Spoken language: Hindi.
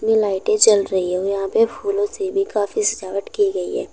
लाइटें जल रही है और यहां पे फूलों से भी काफी सजावट की गई हैं।